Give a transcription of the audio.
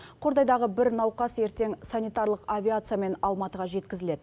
қордайдағы бір науқас ертең санитарлық авиациямен алматыға жеткізіледі